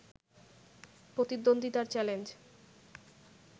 প্রতিদ্বন্দ্বিতার challenge